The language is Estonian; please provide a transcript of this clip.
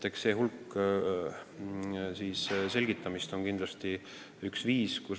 Eks see suur hulk selgitamist on kindlasti vajalik.